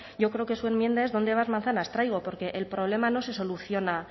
yo creo que su enmienda es dónde vas manzanas traigo porque el problema no se soluciona